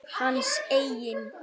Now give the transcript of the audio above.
Hans eigin?